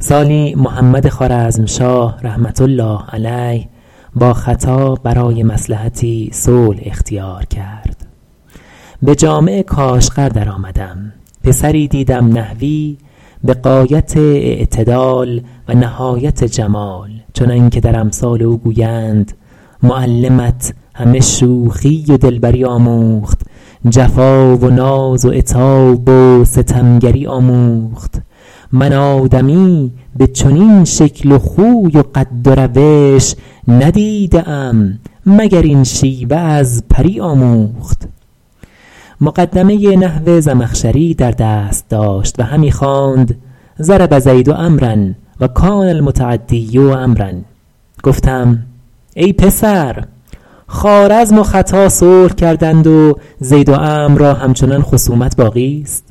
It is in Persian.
سالی محمد خوارزمشاه رحمة الله علیه با ختا برای مصلحتی صلح اختیار کرد به جامع کاشغر در آمدم پسری دیدم نحوی به غایت اعتدال و نهایت جمال چنان که در امثال او گویند معلمت همه شوخی و دلبری آموخت جفا و ناز و عتاب و ستمگری آموخت من آدمی به چنین شکل و خوی و قد و روش ندیده ام مگر این شیوه از پری آموخت مقدمه ی نحو زمخشری در دست داشت و همی خواند ضرب زید عمروا و کان المتعدی عمروا گفتم ای پسر خوارزم و ختا صلح کردند و زید و عمرو را همچنان خصومت باقیست